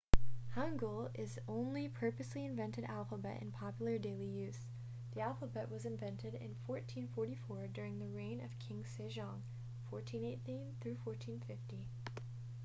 hangeul is the only purposely invented alphabet in popular daily use. the alphabet was invented in 1444 during the reign of king sejong 1418 – 1450